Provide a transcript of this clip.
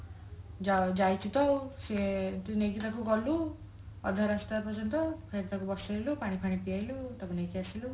ଯାଇ ଯାଇଛୁ ତ ଆଉ ସିଏନ୍ତି ନେଇକି ତାକୁ ଗଲୁ ଅଧ ରାସ୍ତା ପର୍ଯ୍ୟନ୍ତ ଫେରେ ତାକୁ ବସେଇଲୁ ପାଣି ପିଆଇଲୁ ତାକୁ ନେଇକି ଆସିଲୁ